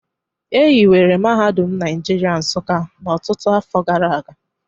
E hiwere Mahadum Naijiria Nsuka ọtụtụ afọ gara aga